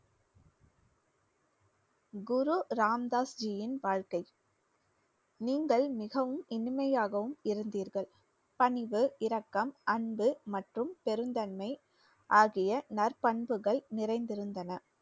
குரு ராம் தாஸ்ஜியின் வாழ்க்கை. நீங்கள் மிகவும் இனிமையாகவும் இருந்தீர்கள். பணிவு இரக்கம் அன்பு மற்றும் பெருந்தன்மை ஆகிய நற்பண்புகள் நிறைந்திருந்தன